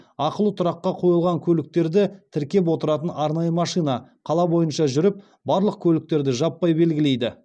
ақылы тұраққа қойылған көліктерді тіркеп отыратын арнайы машина қала бойынша жүріп барлық көліктерді жаппай белгілейді